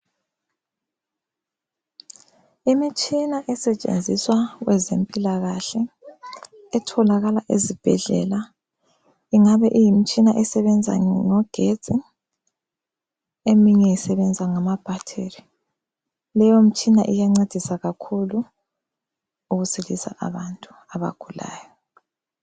Imitshina esetshenziswa kwezempilakahle etholakala ezibhedlela ingabe iyimitshina esebenza ngogetsi eminye isebenza ngamabhatiri. Leyomtshina iyancedisa kakhulu ukusilisa abantu abagulayo.